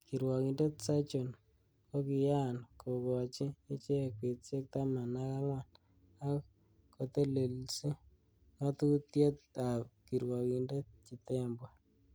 Kirwokindet Sergon kokiyaan kokoochi ichek betusiek taman ak angwan, ak kotelelsi ngatutiet ab kirwokindet Chitembwe.